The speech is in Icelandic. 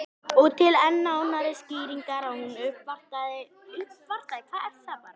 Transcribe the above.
Og til enn nánari skýringar að hún uppvartaði á Skálanum.